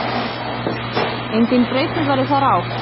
Engin breyting verði þar á.